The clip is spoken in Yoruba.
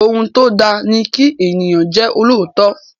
Ohun tó da ni kí ènìyàn jẹ́ olóòótọ́.